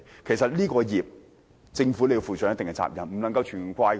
其實這個罪孽政府要負上一定責任，不能完全怪責他們。